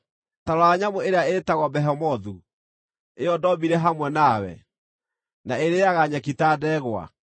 “Ta rora nyamũ ĩrĩa ĩtagwo Behemothu, ĩyo ndoombire hamwe nawe, na ĩrĩĩaga nyeki ta ndegwa.